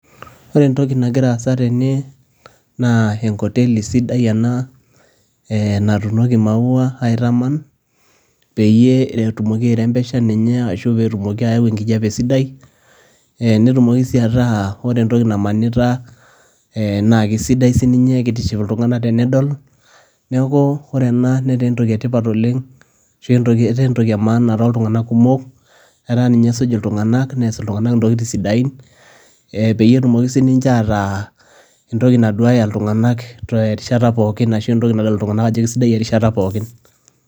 Ore entoki nagira aasa tene naa enkoteli sidai oleng' natuunoki imaua aitama, peyie etumoki airembesha ninye ashuu pee tumoki aawo engijape sidai, netumoki sii ataa ore entoki namanita naa kesidai sininye. Neeku ketiship iltunganak tenedol. Neeku ore ena netaa entoki etipat oleng' ashu entoki emaana too tunganak kumok, etaa ninye esuj iltunganak neaas intokitin sidain, peyie etumoki sininje ataa entoki naduaya iltunganak erishata pookin arashu entoki nadol sidai erishata pookin.